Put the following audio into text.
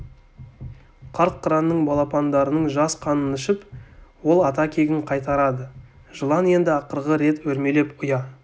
қарт қыранның балапандарының жас қанын ішіп ол ата кегін қайтарады жылан енді ақырғы рет өрмелеп ұя